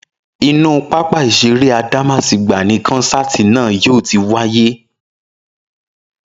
Inú pápá ìṣeré Adámásingbà ni kọ́nsáàti náà yóò ti wáyé